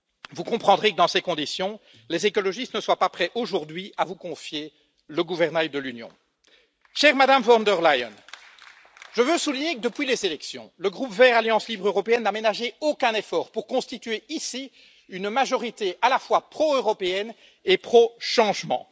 Vous comprendrez que, dans ces conditions, les écologistes ne sont pas prêts aujourd'hui à vous confier le gouvernail de l'Union. Chère Madame von der Leyen, je veux souligner que depuis les élections, le groupe Verts Alliance libre européenne n'a ménagé aucun effort pour constituer ici une majorité à la fois pro européenne et pro changement.